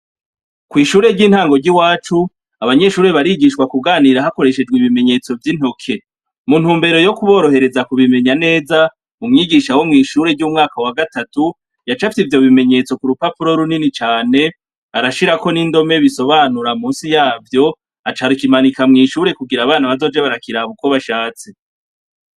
Kw' ishure ry'intango ry'iwacu abanyeshure barigishwa kuganira hakoreshejwe ibimenyetso vy'intoke, Mu ntumbero yo kuborohereza ku bimenya neza umwigisha wo mw'ishure ry'umwaka wa gatatu yacafye ivyo bimenyetso ku rupapuro runini cane barashirako n'indome bisobanura musi yavyo acarakimanika mw'ishure kugira abana bazoje barakiraba uko bashatse.